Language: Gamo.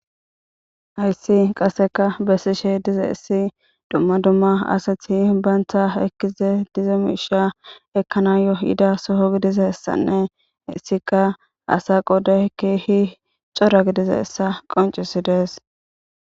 Haysi qasekka besishe dizaysi dumma dumma asati banta ekiza diza misha ejanayo yida soho gididaysanne hesika asa qoday kehi cora gizaysa qoncisdes